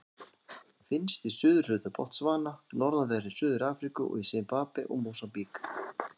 Finnst í suðurhluta Botsvana, norðanverðri Suður-Afríku og í Simbabve og Mósambík.